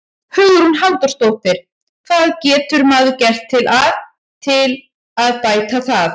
Hugrún Halldórsdóttir: Hvað getur maður gert til að, til að bæta það?